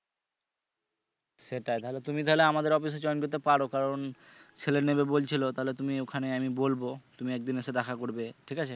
সেটা তাহলে তুমি চাইলে আমাদের join করতে পারো কারণ ছেলে নিবে বলছিলো তাহলে তুমি ওখানে আমি বলবো তুমি একদিন এসে দেখা করবে ঠিক আছে